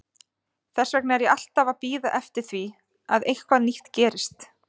Þess vegna er ég alltaf að bíða eftir því að eitthvað nýtt gerist.